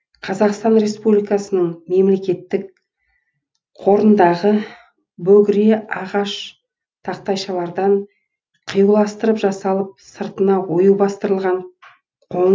қазақстан республикасы мемлекеттік қорындағы бөгіре ағаш тақтайшалардан қиюластырып жасалып сыртына ою бастырылған